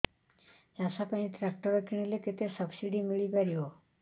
ଚାଷ ପାଇଁ ଟ୍ରାକ୍ଟର କିଣିଲେ କେତେ ସବ୍ସିଡି ମିଳିପାରିବ